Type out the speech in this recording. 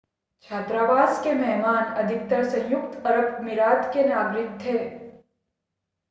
छात्रावास के मेहमान अधिकतर संयुक्त अरब अमीरात के नागरिक थे